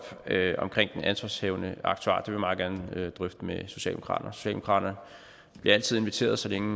omkring den ansvarshavende aktuar jeg meget gerne drøfte med socialdemokraterne socialdemokraterne bliver altid inviteret så længe